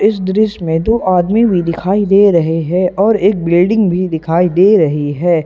इस दृश्य में दो आदमी भी दिखाई दे रहे हैं और एक बिल्डिंग भी दिखाई दे रही है।